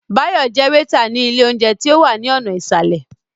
Báyọ̀ jẹ́ wétà ní ilé óúnjẹ tí ó wà ní ọ̀nà ìsàlẹ̀